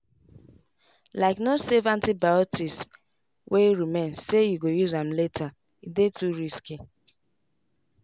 likeno save antibiotics wey remain say you go use am latere dey too risky.